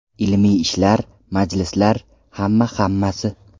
Ilmiy ishlar, majlislar, hamma-hammasi.